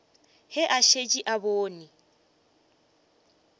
ge a šetše a bone